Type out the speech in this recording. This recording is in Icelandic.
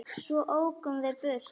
Svo ókum við burt.